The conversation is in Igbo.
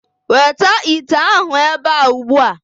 Weta ite ahụ ebe a ugbu a.